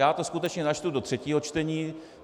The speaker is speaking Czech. Já to skutečně načtu do třetího čtení.